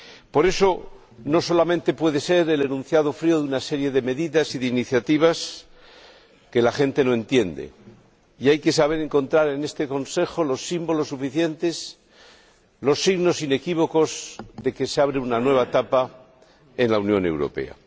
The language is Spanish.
Por eso, no solamente puede ser el enunciado frío de una serie de medidas y de iniciativas que la gente no entiende, sino que hay que saber encontrar en este Consejo los símbolos suficientes, los signos inequívocos, de que se abre una nueva etapa en la Unión Europea.